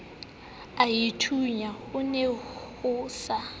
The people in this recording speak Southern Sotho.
aithunya ho ne ho sa